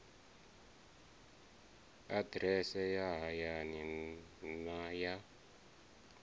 aḓirese ya hayani na ya